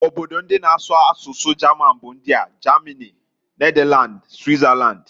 Obodo ndi na asụ asụsụ German bu ndiaː Germany, Netherland, Switzerland.